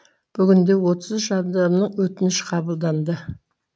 бүгінде отыз үш адамның өтініш қабылданды